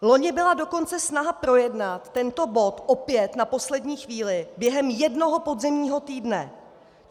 Loni byla dokonce snaha projednat tento bod opět na poslední chvíli během jednoho podzimního týdne.